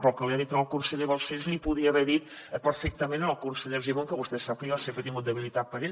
però el que li ha dit al conseller balcells l’hi podia haver dit perfectament al conseller argimon que vostè sap que jo sempre he tingut debilitat per ell